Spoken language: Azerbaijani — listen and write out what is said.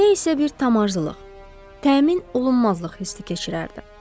Nə isə bir tam arzulıq, təmin olunmazlıq hissi keçirərdi.